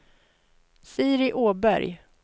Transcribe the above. Siri Åberg